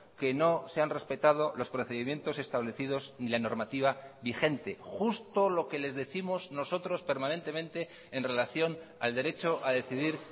que no se han respetado los procedimientos establecidos y la normativa vigente justo lo que les décimos nosotros permanentemente en relación al derecho a decidir